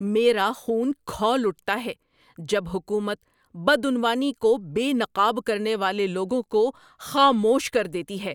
میرا خون کھول اٹھتا ہے جب حکومت بدعنوانی کو بے نقاب کرنے والے لوگوں کو خاموش کر دیتی ہے۔